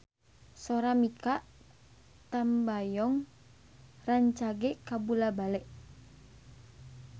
Sora Mikha Tambayong rancage kabula-bale